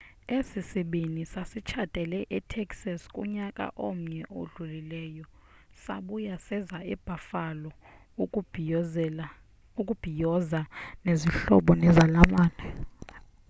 esi sibini sasitshatele e texas kunyaka omnye odlulileyo sabuya seza e buffalo ukuzobhiyoza nezihlobo nezalamane